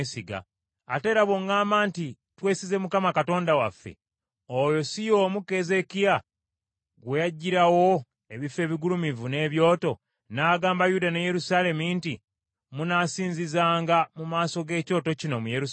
Ate era bw’oŋŋamba nti, “Twesize Mukama Katonda waffe,” oyo si y’omu Keezeekiya gwe yaggyirawo ebifo ebigulumivu n’ebyoto, ng’agamba Yuda ne Yerusaalemi nti, “Munaasinzizanga mu maaso g’ekyoto kino mu Yerusaalemi”?